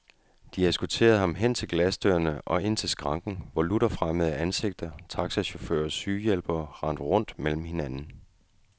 De eskorterede ham hen til glasdørene og ind til skranken, hvor lutter fremmede ansigter, taxachauffører og sygehjælpere rendte rundt mellem hinanden.